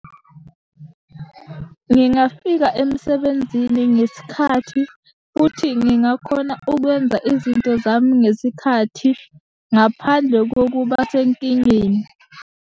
Ngingafika emsebenzini ngesikhathi, futhi ngingakhona ukwenza izinto zami ngesikhathi ngaphandle kokuba senkingeni.